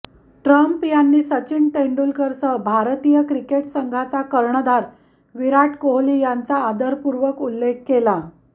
Trump यांनी सचिन तेंडुलकरसह भारतीय क्रिकेट संघाचा कर्णधार विराट कोहली यांचा आदरपूर्वक उल्लेख केला